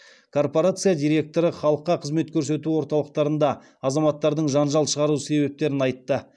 корпорация директоры халыққа қызмет көрсету орталықтарында азаматтардың жанжал шығару себептерін айтты